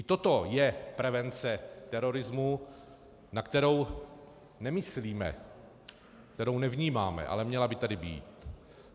I toto je prevence terorismu, na kterou nemyslíme, kterou nevnímáme, ale měla by tady být.